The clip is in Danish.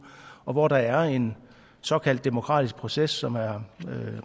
og hvor der er en såkaldt demokratisk proces som er